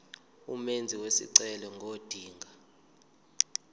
umenzi wesicelo ngodinga